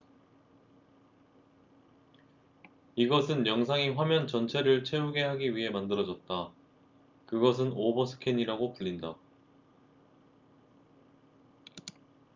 이것은 영상이 화면 전체를 채우게 하기 위해 만들어졌다 그것은 오버스캔이라고 불린다